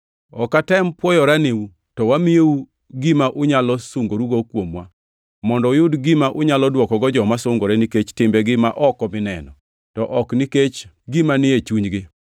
Ok watem pwoyorenu, to wamiyou gima unyalo sungorugo kuomwa, mondo uyud gima unyalo dwokogo joma sungore nikech timbegi ma oko mineno, to ok nikech gima ni e chunygi.